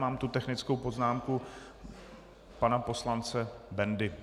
Mám tu technickou poznámku pana poslance Bendy.